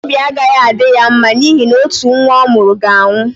Obi agaghị adị ya mma n’ihi na otu nwa ọ mụrụ ga-anwụ.